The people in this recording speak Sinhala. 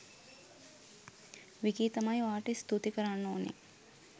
විකි තමයි ඔයාට ස්තුති කරන්න ඕනේ